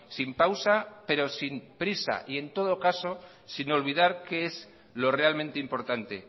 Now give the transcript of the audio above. sin pausa pero sin prisa y en todo caso sin olvidar qué es lo realmente importante